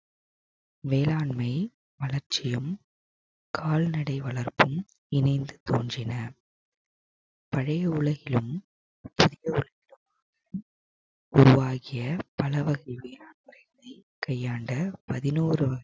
வேளாண்மை அலட்சியம் கால்நடை வளர்ப்பும் இணைந்து தோன்றின பழைய உலகிலும் உருவாகிய பலவகை வேளாண்மைகளை கையாண்ட பதினோரு